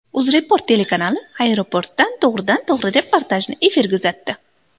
UzReport telekanali aeroportdan to‘g‘ridan to‘g‘ri reportajni efirga uzatdi.